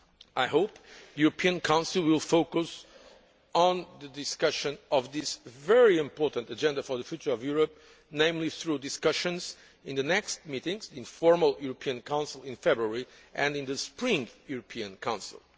I hope the European Council will focus on the discussion of this very important agenda for the future of Europe, namely through discussions in the next meetings, in the formal European Council in February and in the spring European Council.